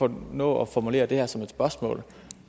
kan nå at formulere det her som et spørgsmål